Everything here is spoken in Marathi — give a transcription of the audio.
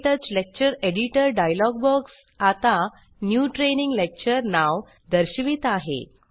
क्टच लेक्चर एडिटर डायलॉग बॉक्स आता न्यू ट्रेनिंग लेक्चर नाव दर्शवित आहे